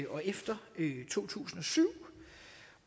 og efter to tusind og syv